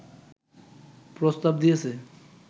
প্রস্তাব দিয়েছে